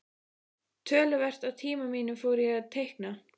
Töluvert af tíma mínum fór í að teikna.